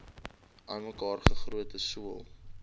aanmekaar gegote sool